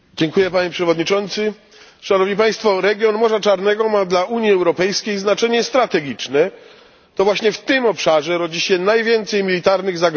Region Morza Czarnego ma dla Unii Europejskiej znaczenie strategiczne. To właśnie w tym obszarze rodzi się najwięcej militarnych zagrożeń dla naszego bezpieczeństwa w ostatnim czasie.